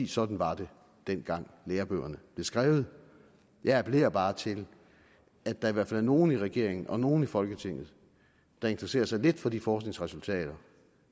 sådan var det dengang lærebøgerne blev skrevet jeg appellerer bare til at der i hvert fald er nogle i regeringen og nogle i folketinget der interesserer sig lidt for de forskningsresultater